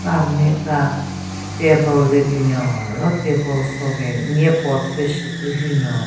Ka nme ka table le binyon ro table so gen nye pot pe shyu thyu hyü nyon.